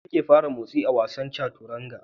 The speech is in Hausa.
Fari shi yake fara motsi a wasan Chanturanga.